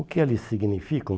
O que eles significam?